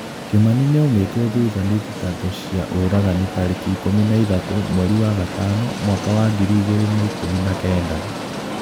Kĩmani nĩaumĩtwo thutha nĩ thitango cia ũragani tariki ikumi na ithatu mweri wa gatano mwaka w angiri igiri na ikumi na kenda.